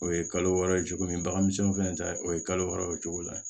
O ye kalo wɔɔrɔ ye cogo min bagan misɛnninw fɛnɛ ta o ye kalo wɔɔrɔ o cogo la